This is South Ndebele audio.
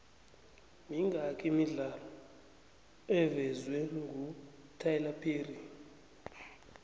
mingaki imidlalo evezwengutyler perry